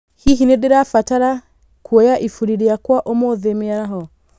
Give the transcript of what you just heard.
Hihi nindĩrabatara kuoya ibũri rĩakwa ũmũthĩ mĩaraho?